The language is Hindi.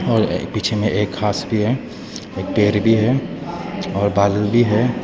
और पीछे में एक घास भी है एक पेड़ भी हैं और बदल भी है।